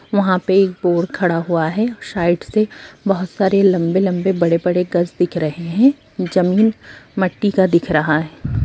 वहाँ पे एक बोर खड़ा हुआ है साइड से बहुत सारे लम्बे-लम्बे बड़े-बड़े गज दिख रहें हैं जमीन मट्टी का दिख रहा है।